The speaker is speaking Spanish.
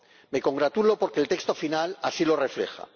Me congratulo porque el texto final así lo refleja.